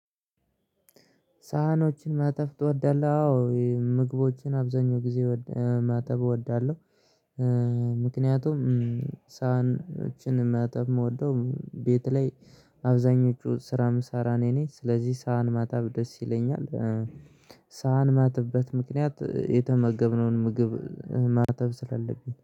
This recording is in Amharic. ሳህኖችን ማጠብ እወዳለሁ አዎ ምግቦችን አብዛኛው ጊዜ ማጠብ እወዳለሁ። ምክንያቱም ሳህኖችን መጠብ የምወደው ቤት ላይ አብዛኞቹን ስራ ምሳራ እኔ ነኝ ስለዚህ ሳህን ማጠብ ደስ ይለኛል። ሳህን ማጥብበት ምክንያት የተመገብነውን ምግብ ማጠብ ስላለብኝ